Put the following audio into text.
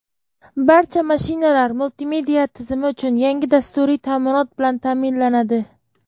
Barcha mashinalar multimedia tizimi uchun yangi dasturiy ta’minot bilan ta’minlanadi.